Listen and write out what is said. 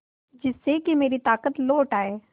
जिससे कि मेरी ताकत लौट आये